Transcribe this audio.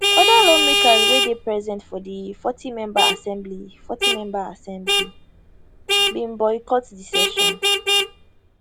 oda lawmakers wey dey present for di 40member assembly 40member assembly bin boycott di session